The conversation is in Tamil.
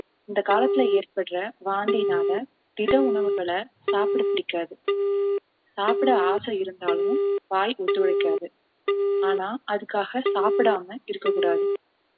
இந்த காலத்துல ஏற்படுற வாந்தியினால திட உணவுகளை சாப்பிட பிடிக்காது சாப்பிட ஆசை இருந்தாலும் வாய் ஒத்துழைக்காது ஆனால் அதுக்காக சாப்பிடாமல் இருக்கக் கூடாது